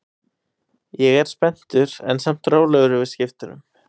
Ég er spenntur en samt rólegur yfir skiptunum.